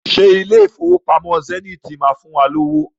Ṣé ilé Ìfowópamọ́ Zenith máa fún wa lówó?